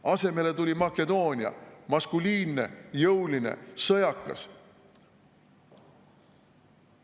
Asemele tuli Makedoonia, maskuliinne, jõuline, sõjakas.